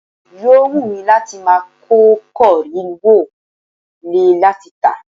Yò wù mí láti máa kó kọ́ríẹ̀ wọ lé láti tà.